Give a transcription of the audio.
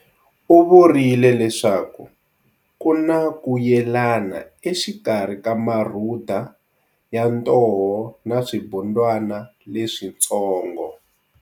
U vurile leswaku ku na ku yelana exikarhi ka Marhuda ya ntoho na swibundwana leswitsongo.